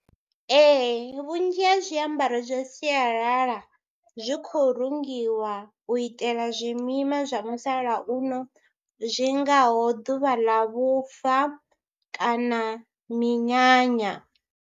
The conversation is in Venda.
Ee vhunzhi ha zwiambaro zwa sialala zwi khou rungiwa u itela zwimima zwa musalauno zwi ngaho ḓuvha ḽa vhufa kana minyanya.